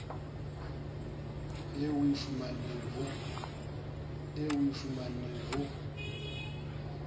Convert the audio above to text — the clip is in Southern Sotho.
eo o e fumaneng ho